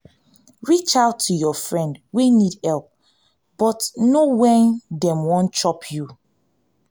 reach out to your friend wey need help but know when dem wan chop you